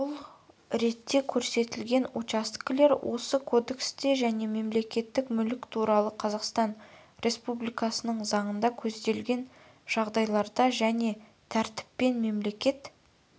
бұл ретте көрсетілген учаскелер осы кодексте және мемлекеттік мүлік туралы қазақстан республикасының заңында көзделген жағдайларда және тәртіппен мемлекет